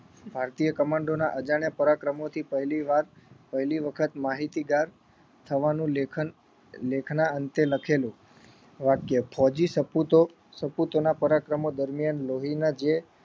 ભારતીય કમાન્ડોના અજાણ્યા પરાક્રમોથી પહેલીવાર પહેલીવખત માહિતીગાર થવાનું લેખન લેખના અંતે લખેલું વાક્ય ફોજી સપૂતો સપૂતોના પરાક્રમો દરમિયાન લોહીના જે